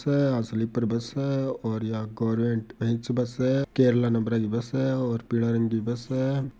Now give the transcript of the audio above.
आ sleeper bus है और यहा गवर्नमेंट गर्वमेंट बेच बस है केरल बस है और पीला रंग की बस है।